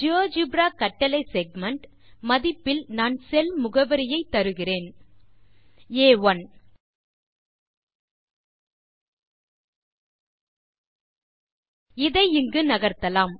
GeoGebra கட்டளை segment மதிப்பில் நான் செல் முகவரியை தருகிறேன் ஆ1 இதை இங்கு நகர்த்தலாம்